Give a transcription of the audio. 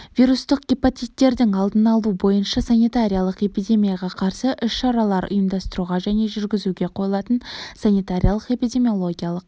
вирустық гепатиттердің алдын алу бойынша санитариялық-эпидемияға қарсы іс-шараларды ұйымдастыруға және жүргізуге қойылатын санитариялық-эпидемиологиялық